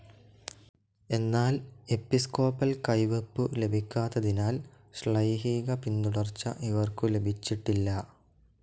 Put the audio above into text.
എന്നാൽ എപ്പിസ്കോപ്പൽ കൈവെപ്പു ലഭിക്കാത്തതിനാൽ ശ്ലൈഹീക പിന്തുടർച്ച ഇവർക്ക് ലഭിച്ചിട്ടില്ല.